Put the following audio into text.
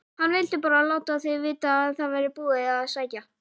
HANN VILDI BARA LÁTA ÞIG VITA AÐ ÞAÐ VÆRI BÚIÐ AÐ SÆKJA